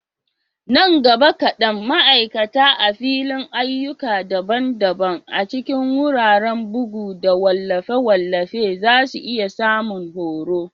Nan gaba kadan, ma'aikata a fadin ayyuka daban-daban a cikin wuraren bugu da wallafe-wallafe za su iya samun horo.